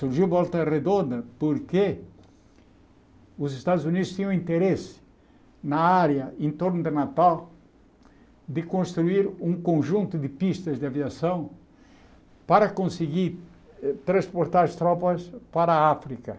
Surgiu Volta Redonda porque os Estados Unidos tinham interesse na área em torno de Natal de construir um conjunto de pistas de aviação para conseguir eh transportar as tropas para a África.